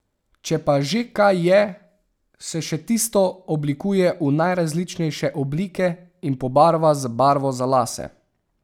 Če pa že kaj je, se še tisto oblikuje v najrazličnejše oblike in pobarva z barvo za lase.